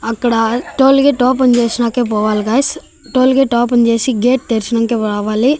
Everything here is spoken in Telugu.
అక్కడ టోల్గేట్ ఓపెన్ చేసినాకే పోవాలి గాయ్స్ టోల్గేట్ ఓపెన్ చేసి గేట్ తెరిసినంకే రావాలి.